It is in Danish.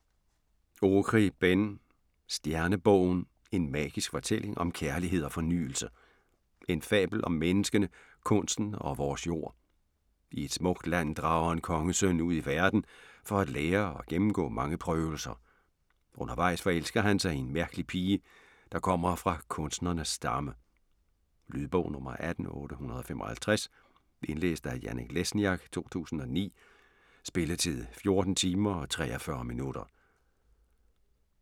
Okri, Ben: Stjernebogen: en magisk fortælling om kærlighed og fornyelse En fabel om menneskene, kunsten og vores jord. I et smukt land drager en kongesøn ud i verden for at lære og gennemgå mange prøvelser. Undervejs forelsker han sig i en mærkelig pige, der kommer fra kunstnernes stamme. Lydbog 18855 Indlæst af Janek Lesniak, 2009. Spilletid: 14 timer, 43 minutter.